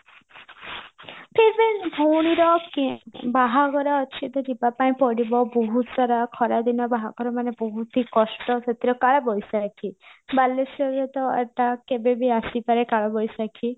ଭଉଣୀର କି ବାହାଘର ଅଛି ତ ଯିବା ପାଇଁ ପଡିବ ବହୁତ ସାରା ଖରା ଦିନ ବାହାଘର ମାନେ ବହୁତ ହି କଷ୍ଟ ସେଥିରେ କାଳ ବୈଶାଖୀ ବାଲେଶ୍ଵରରେ ତ ଏଟା କେବେବି ଆସିପାରେ କାଳବୈଶାଖୀ